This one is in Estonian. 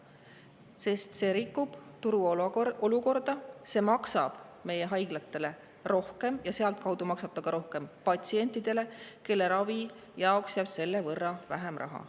See eelnõu rikub turuolukorda, see maksab haiglatele rohkem ja sealtkaudu maksab ta rohkem ka patsientidele, kelle ravi jaoks jääb selle võrra vähem raha.